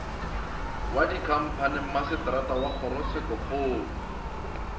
wa dikhamphani masetara wa kgorotshekokgolo